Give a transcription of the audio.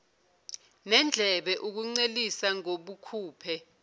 nendlebe ukuncelisa ngobukhuphe